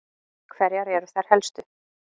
Hverjar eru þær helstu?